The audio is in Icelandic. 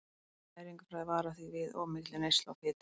Næringarfræðingar vara því við of mikilli neyslu á fitu.